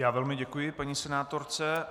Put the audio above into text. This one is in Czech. Já velmi děkuji paní senátorce.